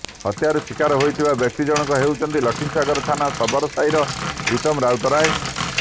ହତ୍ୟାର ଶିକାର ହୋଇଥିବା ବ୍ୟକ୍ତି ଜଣକ ହେଉଛନ୍ତି ଲକ୍ଷ୍ମୀସାଗର ଥାନା ଶବର ସାହିର ପ୍ରୀତମ ରାଉତରାୟ